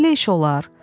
Belə iş olar?